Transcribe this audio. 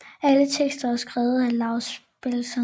Alle tekster er skrevet af Laus Bengtsson